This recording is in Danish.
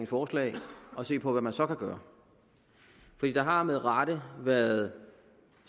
forslag at se på hvad man så kan gøre der har med rette været